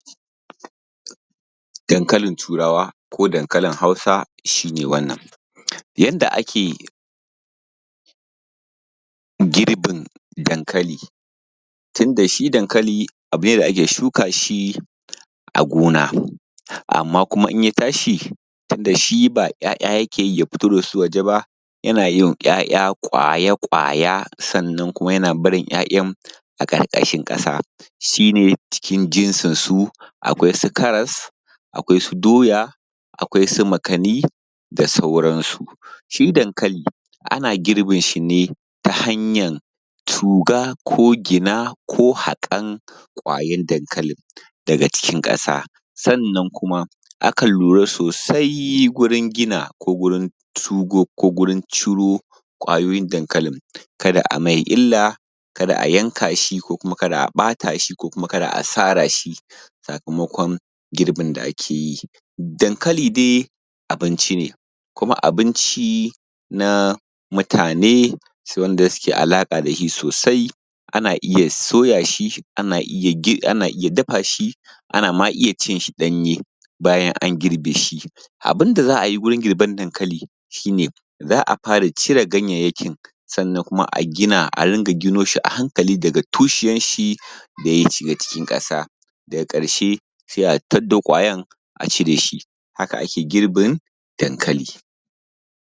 dankalin turawa ko dankalin hausa shi ne wannan yanda ake girbin dankali tunda shi dankali abune da ake shuka shi a gona amman kuma idan ya tashi tunda shi ba ‘ya’ya yake yi ya fito da su waje ba yana yin ‘ya’ya ƙwaya-ƙwaya sannan kuma yana barin ‘ya’yan a ƙarƙashin ƙasa shi ne cikin jinsi su akwai su karas doya akwai su makkani da sauran su shi dankalin ana girbin shi ne ta hanyar tuga ko gina ko haƙan kwayan dankalin daga cikin ƙasa sannan kuma akan lura sosai wurin gina ko gurin tugo ko gurin ciro ƙwayoyin dankalin kada a mai illa kada a yanka shi ko kuma kada a ɓata shi ko kuma kada a sara shi sakamakon girbin da akeyi dankali dai abinci ne kuma abinci na mutane shi wanda suke da alaƙa dashi sosai ana iya soya shi ana iya dafa shi ana ma iya cin shi ɗanye bayan an girbe shi abun da za ayi wajen girban dankalin nan shi ne za a fara cire ganyenyakin sannan kuma a gina a ɗinga gino shi a hankali daga tushiyan shi da ya shiga cikin ƙasa daga ƙarshe sai a taddo ƙwayen a cire shi haka ake girbin dankali